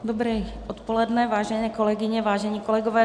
Dobré odpoledne, vážené kolegyně, vážení kolegové.